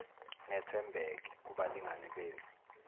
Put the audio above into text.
nethembeke kubalingani benu